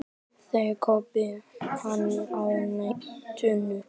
Það kaupi hann á netinu.